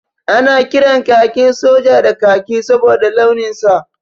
Ana kiran kakin soja da kaki saboda launin sa.